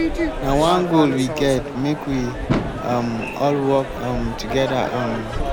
na one goal we get make we um all work um together um.